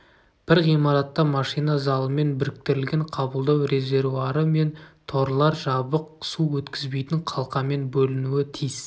бір ғимаратта машина залымен біріктірілген қабылдау резервуары мен торлар жабық су өткізбейтін қалқамен бөлінуі тиіс